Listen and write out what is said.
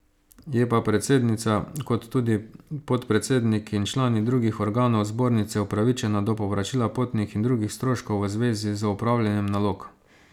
Je pa predsednica kot tudi podpredsednik in člani drugih organov zbornice upravičena do povračila potnih in drugih stroškov v zvezi z opravljanjem nalog.